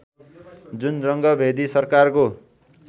जुन रङ्गभेदी सरकारको